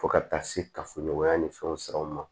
Fo ka taa se kafoɲɔgɔnya ni fɛnw siraw ma